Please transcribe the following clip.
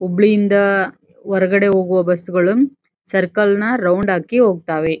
ಹುಬ್ಳಿಯಿಂದ ಹೊರಗಡೆ ಹೋಗೋವ ಬಸ್ ಗಳು ಸರ್ಕಲ್ ನಾ ರೌಂಡ್ ಹಾಕಿ ಹೊಕತ್ತವೆ.